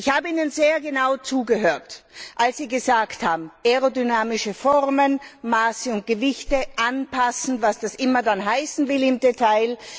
Ich habe Ihnen sehr genau zugehört, als Sie gesagt haben, aerodynamische Formen, Maße und Gewichte sind anzupassen, was das immer dann heißen will im Detail.